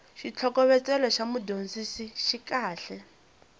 xitlhokovetselo xa mudyondzisi xi kahle